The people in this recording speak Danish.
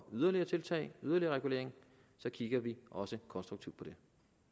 yderligere tiltag og yderligere regulering kigger vi også konstruktivt på det